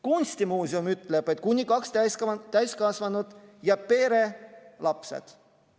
Kunstimuuseum ütleb, et kuni kaks täiskasvanut ja pere lapsed.